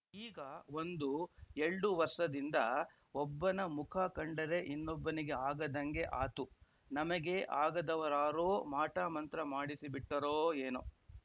ಈಗ ಒಂದು ಎಲ್ಡುವರ್ಸದಿಂದ ಒಬ್ಬನ ಮುಖ ಕಂಡರೆ ಇನ್ನೊಬ್ಬನಿಗೆ ಆಗದಂಗೆ ಆತು ನಮಗೆ ಆಗದವರಾರೋ ಮಾಟಮಂತ್ರ ಮಾಡಿಸಿಬಿಟ್ಟರೊ ಏನೊ